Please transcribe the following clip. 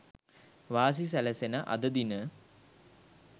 වාසි සැලසෙන අද දින